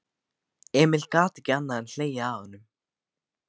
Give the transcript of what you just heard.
Emil gat ekki annað en hlegið að honum.